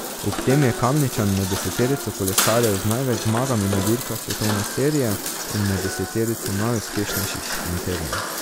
Ob tem je Kamničan med deseterico kolesarjev z največ zmagami na dirkah svetovne serije in med deseterico najuspešnejših šprinterjev.